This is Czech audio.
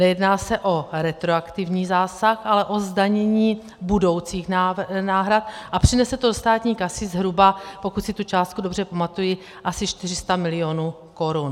Nejedná se o retroaktivní zásah, ale o zdanění budoucích náhrad a přinese to do státní kasy zhruba, pokud si tu částku dobře pamatuji, asi 400 mil. korun.